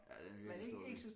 Ja den virker stor